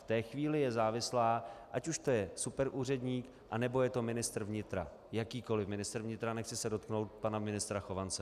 V té chvíli je závislá, ať už to je superúředník, nebo to je ministr vnitra, jakýkoliv ministr vnitra, nechci se dotknout pana ministra Chovance.